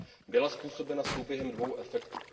Byla způsobena souběhem dvou efektů.